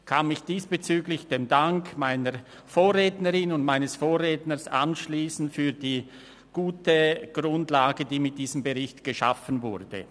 Ich kann mich diesbezüglich dem Dank meiner Vorrednerin und meines Vorredners für die gute Grundlage anschliessen, die mit diesem Bericht geschaffen wurde.